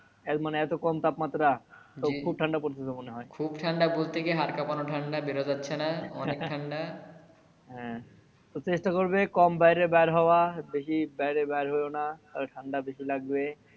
মানে এতো কম তাপমাত্রা তো খুব ঠান্ডা পড়ছে তো মনে হয় খুব ঠান্ডা বলতে কি হাড় কাঁপানো ঠান্ডা বের হওয়া যাচ্ছে না অনেক তো চেষ্টা করবে কম বাইরে বার হওয়া বেশি বাইরে বার হইওনা তালে ঠান্ডা বেশি লাগবে